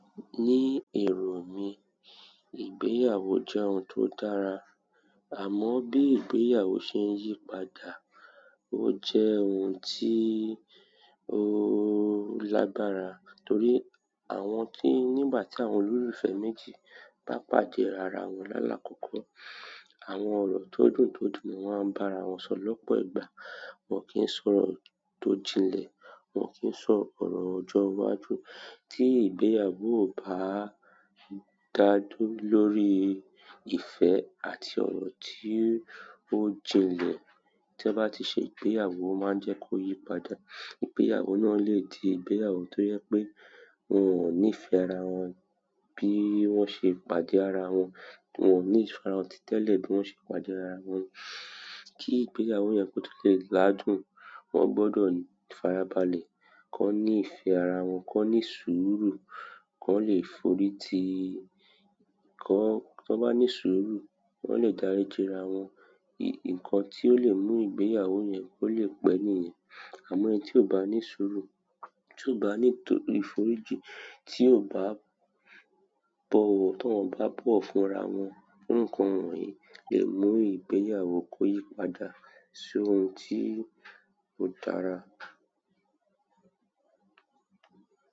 Ní èrò mí, ìgbéyàwó jẹ́ ohun tó dára, àmọ́ bí ìgbéyàwó ṣe ń yí padà. Ó jẹ́ ohun tí ó lágbára torí àwọn tí nígbà tí àwọn olólùfẹ́ méjì bá pàdé ara wọn lálà kọ́kọ́, àwọn ọ̀rọ̀ tó dùn tó dùn ni wọ́n á bá ara wọn sọ lọ́pọ̀ ìgbà. Wọn kì ń sọ ọ̀rọ̀ tó jinlẹ̀, wọn kì ń sọ ọ̀rọ̀ ọjọ́ iwájú. Tí ìgbéyàwó ò bá dájù lórí ìfẹ́ àti ọ̀rọ̀ tí ó jinlẹ̀, tí won bá ti ṣe ìgbéyàwó o máa ń jẹ́ kó yí padà. Ìgbéyàwó náà lè di ìgbéyàwó tó jẹ pé wọn ò nífẹ̀ẹ́ ara wọn bí wọ́n ṣe pàdé ara wọn, wọn ò nífẹ̀ẹ́ ara wọn títẹ̀lé bí wọ́n ṣe pàdé ara wọn. Kí ìgbéyàwó yẹn kó tó lè ládùn, wọ́n gbọdọ̀ f'ara balẹ̀, ki wọ́n ní ìfẹ́ ara wọn, ki wọ́n ní sùúrù, kọ́n lè forí ti, tọ́n bá ní sùúrù, wọn lè dáríji ara wọn. Nkan ti o le mu ìgbéyàwó yen ko le pe niyen. Àmọ́ ẹni tí ò bá ní sùúrù, tí ò bá ní ìforíji, tí ò bá bọ̀wo, tí wọ́n o bá bowọ̀ fúnra wọn, nǹkan wọ̀nyí lè mú ìgbéyàwó kó yí padà sí ohun tí ò dára.